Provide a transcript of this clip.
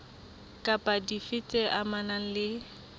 kapa dife tse amanang le